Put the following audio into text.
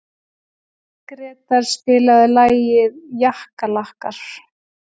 Grétar, spilaðu lagið „Jakkalakkar“.